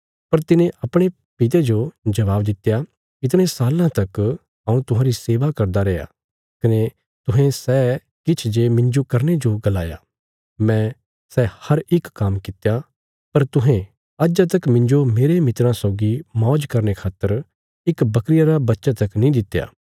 पर तिने अपणे पिता जो जबाब दित्या इतणे साल्लां तक हऊँ तुहांरी सेवा करदा रेआ कने तुहें सै किछ जे मिन्जो करने जो गलाया मैं सै हर इक काम्म कित्या पर तुहें अज्जा तक मिन्जो मेरे मित्राँ सौगी मौज करने खातर इक बकरिया रा बच्चा तक नीं दित्या